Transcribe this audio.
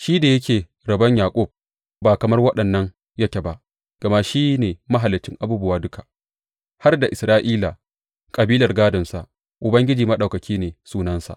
Shi da yake Rabon Yaƙub ba kamar waɗannan yake ba, gama shi ne Mahaliccin abubuwa duka, har da Isra’ila, kabilar gādonsa Ubangiji Maɗaukaki ne sunansa.